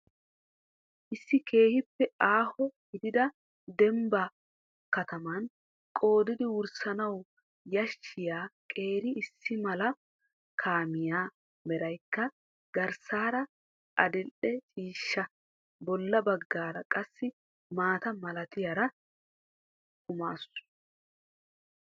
Issi keehiippe aaho gidida dembba kataman qoodidid wurssanawu yashshiya qeeri issi mala kaamiyaa meraykka garssaara adildhdhe ciishsha bolla bagaara qassi mata malattiyara kumaasu.